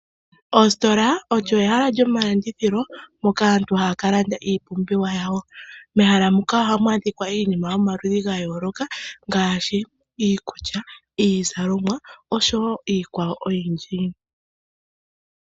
Oositola olyo ehala lyomalandithilo moka aantu haya ka landa iipumbiwa yawo. Mehala muka ohamu adhika iinima yomaludhi ga yooloka, ngaashi iikulya, iizalomwa oshowo iikwawo oyindji.